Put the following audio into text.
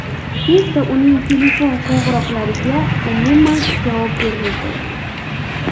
Tezda uning telefon qo‘ng‘iroqlariga umuman javob bermay qo‘yadi.